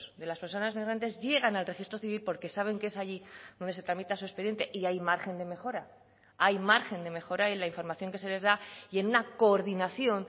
de las personas migrantes llegan al registro civil porque saben que es allí donde se tramita su expediente y hay margen de mejora hay margen de mejora y la información que se les da y en una coordinación